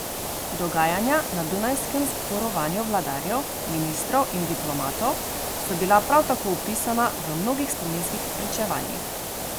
Dogajanja na dunajskem zborovanju vladarjev, ministrov in diplomatov so bila prav tako opisana v mnogih spominskih pričevanjih.